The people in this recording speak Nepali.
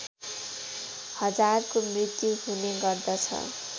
हजारको मृत्यु हुने गर्दछ